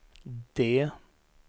D